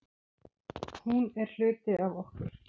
Hún er hluti af okkur.